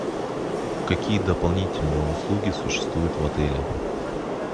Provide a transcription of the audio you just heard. какие дополнительные услуги существуют в отеле